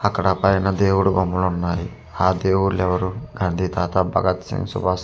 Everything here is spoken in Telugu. అక్కడ పైన దేవుడు బొమ్మలు ఉన్నాయి ఆ దేవుడలు ఎవ్వరు గాంధీ తాత భగత్ సింగ్ శుబస్ నేత--